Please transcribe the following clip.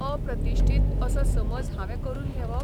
अप्रतिश्ठीत असो समज हांवें करून घेवप?